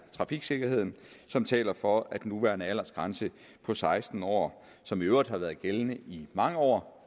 trafiksikkerheden som taler for at den nuværende aldersgrænse på seksten år som i øvrigt har været gældende i mange år